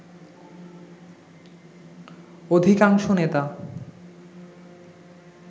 অধিকাংশ নেতা